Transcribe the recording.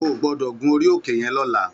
Ó gbòdò gún óri óké yèn lòlá